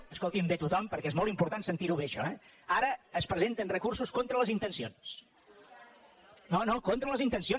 escoltinho bé tothom perquè és molt important sentirho bé això ara es presenten recursos contra les intencions